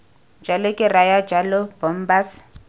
jalo ke raya jalo bombas